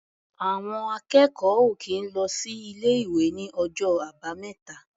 Àwọn akẹ́kọ̀ọ́ ò kì í lọ sí ilé-ìwé ní ọjọ́ Àbámẹ́ta.